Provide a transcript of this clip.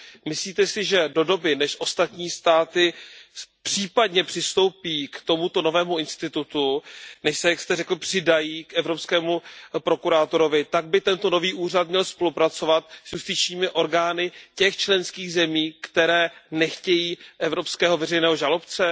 Myslíte si, že do doby, než ostatní státy případně přistoupí k tomuto novému institutu, než se, jak jste řekl, přidají k evropskému prokurátorovi, tak by tento nový úřad měl spolupracovat s justičními orgány těch členských zemí, které nechtějí evropského veřejného žalobce?